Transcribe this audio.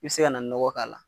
I bɛ se ka na nɔgɔ k'a la.